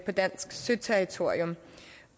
dansk søterritorium